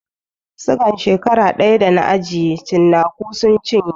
Sigan shekara ɗaya da na ajiye cinaku sun cinye